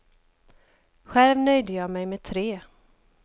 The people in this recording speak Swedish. Själv nöjde jag mig med tre.